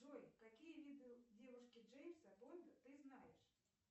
джой какие виды девушки джеймса бонда ты знаешь